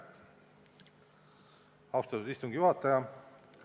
Austatud istungi juhataja!